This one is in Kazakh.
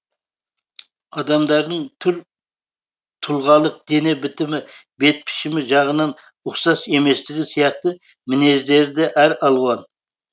адамдардың түр тұлғалық дене бітімі бет пішімі жағынан ұқсас еместігі сияқты мінездері де әр алуан